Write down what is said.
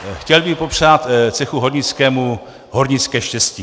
Chtěl bych popřát cechu hornickému hornické štěstí.